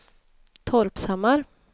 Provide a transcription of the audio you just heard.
Torpshammar